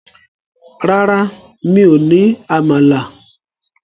Rárá, mi ò ní àmàlà.